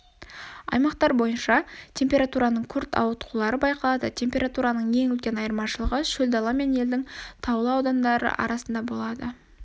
аймақтар бойынша температураның күрт ауытқулары байқалады температураның ең үлкен айырмашылығы шөл дала мен елдің таулы аудандары арасында болады